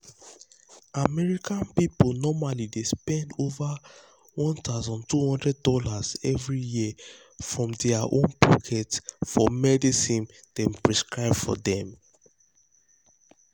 american people normally dey spend over one thousand two hundred dollars every year from their own pocket for medicine dem prescribe for dem.